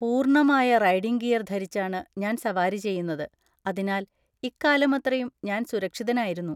പൂർണ്ണമായ riding gear ധരിച്ചാണ് ഞാൻ സവാരി ചെയ്യുന്നത്, അതിനാൽ ഇക്കാലമത്രയും ഞാൻ സുരക്ഷിതനായിരുന്നു.